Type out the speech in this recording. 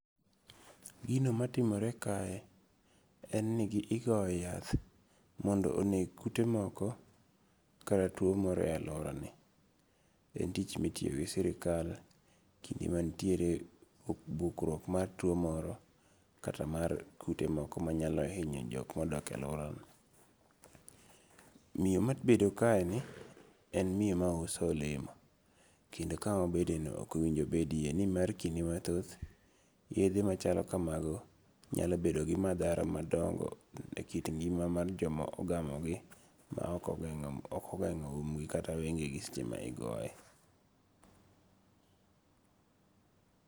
Gino matimore kae, en ni ogoyo yath mondo oneg kute moko kara tuo moro e aluorani, en tich ma itiyo gi sirikal ,kinde mantiere bukruok mar tuo moro kata mar kute moko manyalo hinyo jok ma odakie e aluorano, miyo ma obedo kaeni en miyo ma uso olemo, kendo kama obedeno okonigo bedie ni mar kinde mathoth yethe machalo kamano nyalo bedo gi mathara madongo' e kit ngi'ma ma jomo ogamogi ma okogeng'o imgi kata wenge'gi seche ma igoye.